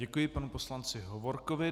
Děkuji panu poslanci Hovorkovi.